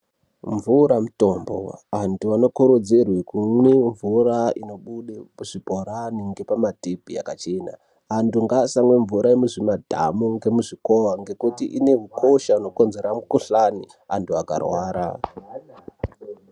Mvura mutombo. Antu anokurudzirwe kumwe mvura inobude muzvibhorani ngepamatepi yakachena .Antu ngaasamwa mvura yemuzvimadhamu ngemuzvimikowa, ngekuti ine ukosha hunokonzera mikhuhlani antu akarwara.